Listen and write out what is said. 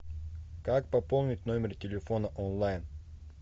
как пополнить номер телефона онлайн